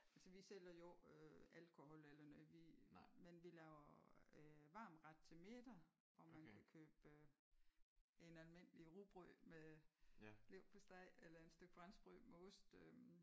Altså vi sælger jo ikke alkohol eller noget vi men vi laver øh varm ret til middag hvor man kan købe en almindelig rugbrød med leverpostej eller en stykke franskbrød med ost øh